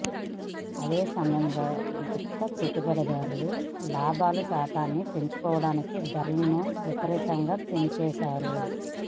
అదే సమ యంలో గుత్త పెట్టుబడిదారులు లాభాల శాతాన్ని పెంచుకోడానికి ధరలను విపరీతంగా పెంచేశారు